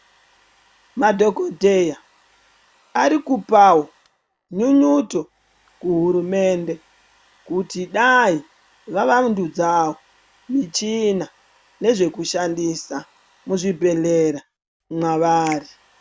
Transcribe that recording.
Madhokodheya arikupawo nyunyuto kuhurumende kuti dai vavandudzawo michina nezvekushandisa muzvibhehlera mwavari.